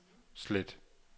slet